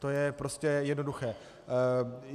To je prostě jednoduché.